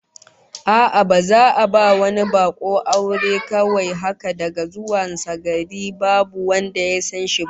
A'a, baza a ba wani bako aure kawai haka daga zuwan sa gari babu wanda ya san shi ba